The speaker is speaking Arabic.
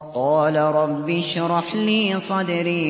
قَالَ رَبِّ اشْرَحْ لِي صَدْرِي